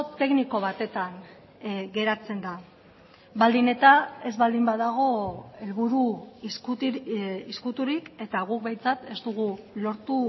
tekniko batetan geratzen da baldin eta ez baldin badago helburu ezkuturik eta guk behintzat ez dugu lortu